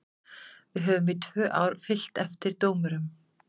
Við höfum í tvö ár fylgt eftir dómurum.